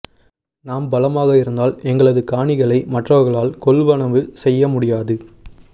நாம் பலமாக இருந்தால் எங்களது காணிகளை மற்றவர்களால் கொள்வனவு செய்ய முடியாது